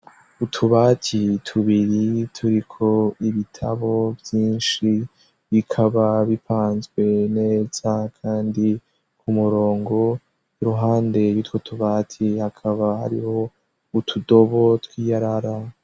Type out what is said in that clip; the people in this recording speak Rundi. Utubati tubiri turiko ibitabo vyinshi, bikaba bipanzwe neza kandi ku murongo. Iruhande y'utwo tubati, hakaba hariho utudobo tw'iyarara.